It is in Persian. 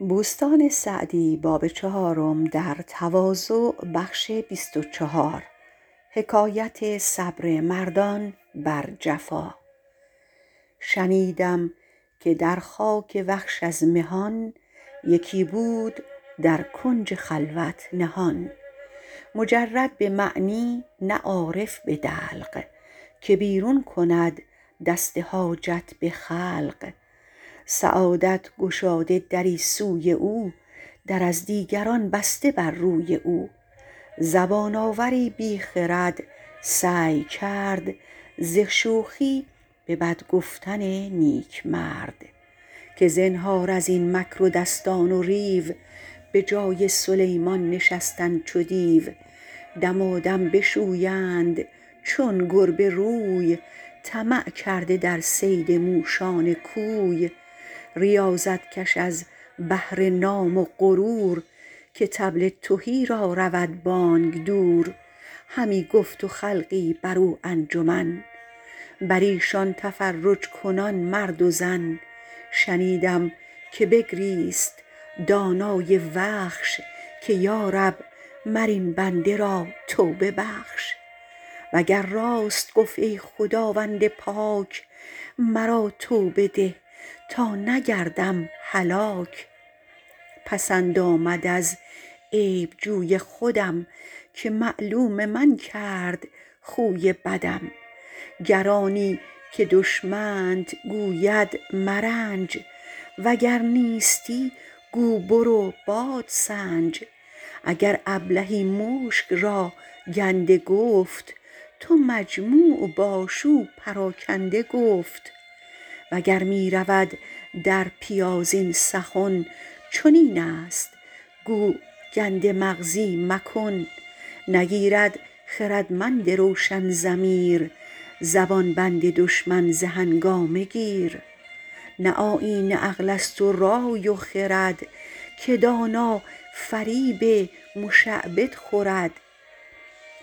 شنیدم که در خاک وخش از مهان یکی بود در کنج خلوت نهان مجرد به معنی نه عارف به دلق که بیرون کند دست حاجت به خلق سعادت گشاده دری سوی او در از دیگران بسته بر روی او زبان آوری بی خرد سعی کرد ز شوخی به بد گفتن نیک مرد که زنهار از این مکر و دستان و ریو بجای سلیمان نشستن چو دیو دمادم بشویند چون گربه روی طمع کرده در صید موشان کوی ریاضت کش از بهر نام و غرور که طبل تهی را رود بانگ دور همی گفت و خلقی بر او انجمن بر ایشان تفرج کنان مرد و زن شنیدم که بگریست دانای وخش که یارب مر این بنده را توبه بخش وگر راست گفت ای خداوند پاک مرا توبه ده تا نگردم هلاک پسند آمد از عیب جوی خودم که معلوم من کرد خوی بدم گر آنی که دشمنت گوید مرنج وگر نیستی گو برو بادسنج اگر ابلهی مشک را گنده گفت تو مجموع باش او پراکنده گفت وگر می رود در پیاز این سخن چنین است گو گنده مغزی مکن نگیرد خردمند روشن ضمیر زبان بند دشمن ز هنگامه گیر نه آیین عقل است و رای و خرد که دانا فریب مشعبد خورد